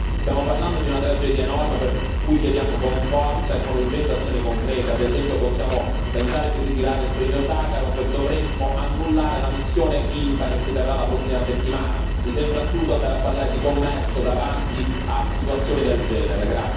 Stiamo parlando di una tragedia enorme, per cui chiediamo con forza e con urgenza azioni concrete, ad esempio possiamo pensare di ritirare il premio Sacharov, dovremmo annullare la missione INTA che si terrà la prossima settimana mi sembra assurdo andare a parlare di commercio davanti a situazioni del genere.